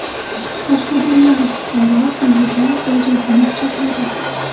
Qashqadaryolik fuqaro uyida bojasini pichoqladi.